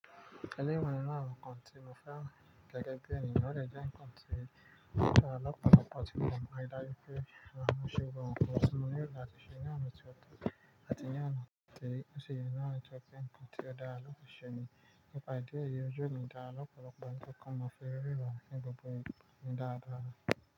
Ẹni mọ̀ n nnkan tí mo fẹ́ràn gẹ́gẹ́ bí ènìyàn, o lè jẹ́ nnkan tí lọ́pọ̀lọpọ̀ àti kàn mọ rí dájú pé máa mú ṣúgà ọ̀pọ̀ sínu rí, àti ṣe ní àná tí ó tó, àti ní àná tí ó ṣe ye ná tí ó pé kọntí ó dára lọ́pọ̀ ṣe ni. Ìpàdé èyí òjò mi dára lọ́pọ̀lọpọ̀ àti kàn mọ fe ríra ní gbogbo ìgbà ni dára dára.